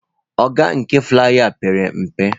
Ogo nke flaiya a pere mpe.